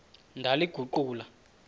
ndaliguqula